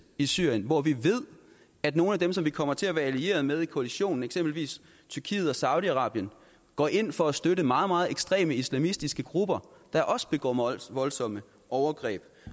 i syrien hvor vi ved at nogle af dem som vi kommer til at være allieret med i koalitionen eksempelvis tyrkiet og saudi arabien går ind for at støtte meget meget ekstreme islamistiske grupper der også begår meget voldsomme overgreb